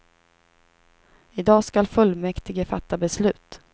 I dag ska fullmäktige fatta beslut.